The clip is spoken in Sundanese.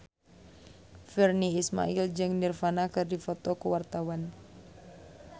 Virnie Ismail jeung Nirvana keur dipoto ku wartawan